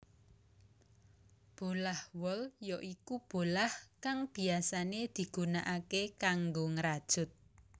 Bolah wol ya iku bolah kang biyasané digunakaké kanggo ngrajut